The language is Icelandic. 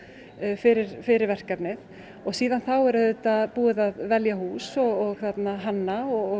fyrir fyrir verkefnið síðan þá er búið að velja hús og hanna og